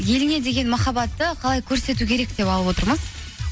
еліңе деген махаббатты қалай көрсету керек деп алып отырмыз